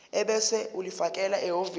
ebese ulifakela ehhovisi